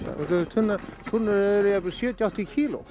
tunnurnar eru jafnvel sjötíu áttatíu kíló